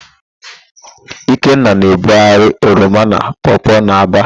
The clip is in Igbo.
Ikenna na-ebugharị oroma na pọọpọọ n'Aba.